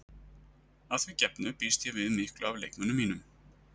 Að því gefnu býst ég við miklu af leikmönnum mínum.